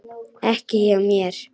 Ekki hjá mér.